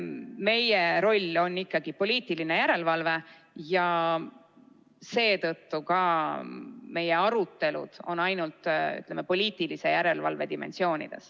Meie roll on ikkagi poliitiline järelevalve ja seetõttu ka meie arutelud on ainult, ütleme, poliitilise järelevalve dimensioonides.